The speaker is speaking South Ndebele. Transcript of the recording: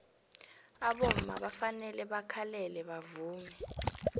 abomma bafanele bakhalele bavume